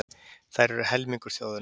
Þær eru helmingur þjóðarinnar.